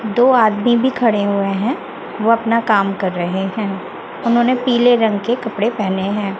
दो आदमी भी खड़े हुए हैं वो अपना काम कर रहे हैं उन्होंने पीले रंग के कपड़े पहने हैं।